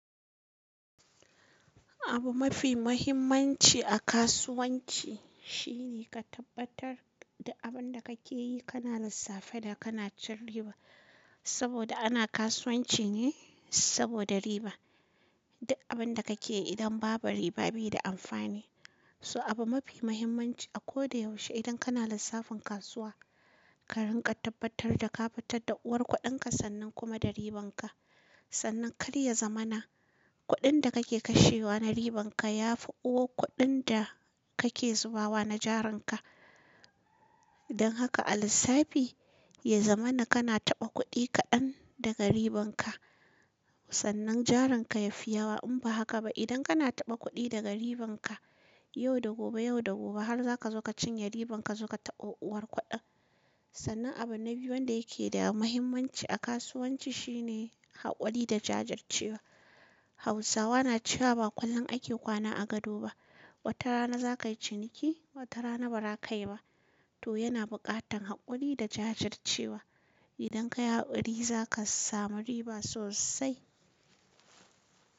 Abu mafi muhimmanci a kasuwanci shine ka tabbatar da abin da kake yi kana lissafa da kana cin riba. Saboda ana kasuwanci ne saboda riba. Duk abin da kake yi idan babu riba bai da amfani. So abu mafi muhimmanci a kodayaushe idan kana lissafin kasuwa, ka rinƙa tabbatar da ka fitar da uwar kuɗinka sannan kuma da ribanka. Sannan karya zamana kuɗin da kake kashewa na ribanka ya fi uwar kuɗin da kake zubawa na jarinka. Don haka a lissafi, ya zamana kana taɓa kuɗi kaɗan daga ribanka sannan jarinka yafi yawa. In ba haka ba idan kana taɓa kuɗi daga ribanka yau da gobe, yau da gobe har za ka zo ka cinye ribanka suka taɓa uwar kuɗan. Sannan abu na biyu wanda yake da muhimmanci a kasuwanci shine haƙuri da jajircewa. Hausawa na cewa ba ƙullon ake kwana a gado ba. Wata rana za ka yi ciniki, wata rana ba za ka yi ba. To yana buƙatan haƙuri da jajircewa. Idan ka yi haƙuri za ka samu riba sosai.